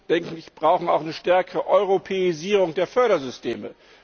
Wir brauchen auch eine stärkere Europäisierung der Fördersysteme.